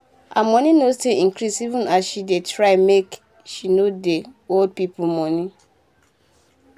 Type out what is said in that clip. her moni nor still increase even as she dey try make she nor dey hol pipo moni